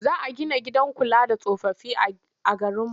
Za a gina gidan kula da tsofaffi a garinmu.